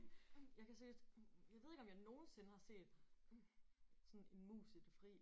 Jeg kan seriøst jeg ved ikke om jeg nogensinde har set sådan en mus i det fri